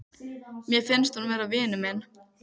Mér finnst hún vera vinur minn.